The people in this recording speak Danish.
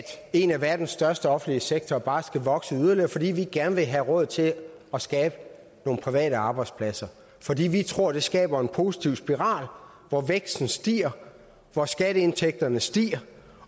en af verdens største offentlige sektorer bare skal vokse yderligere for vi vil gerne have råd til at skabe nogle private arbejdspladser for vi tror det skaber en positiv spiral hvor væksten stiger hvor skatteindtægterne stiger